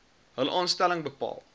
hul aanstelling bepaal